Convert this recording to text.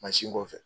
Mansin kɔfɛ